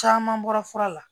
Caman bɔra fura la